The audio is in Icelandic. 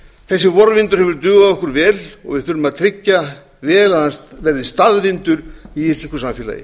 þessi vorvindur hefur dugað okkur vel og við þurfum að tryggja vel að hann verði staðvindur í íslensku samfélagi